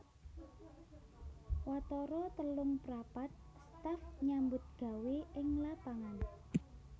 Watara telungprapat staf nyambutgawé ing lapangan